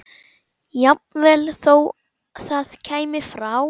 Jafnvel þó það kæmi frá